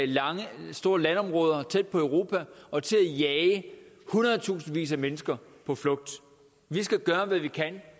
store landområder tæt på europa og til at jage hundredtusindvis af mennesker på flugt vi skal gøre hvad vi kan